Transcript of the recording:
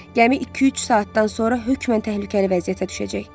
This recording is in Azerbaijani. Gəmi iki-üç saatdan sonra hökmən təhlükəli vəziyyətə düşəcək.